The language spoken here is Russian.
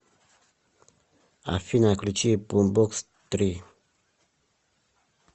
афина включи бумбокс три